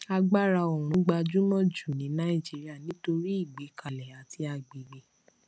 agbára oòrùn gbajúmọ jù ní nàìjíríà nítorí ìgbékalẹ àti agbègbè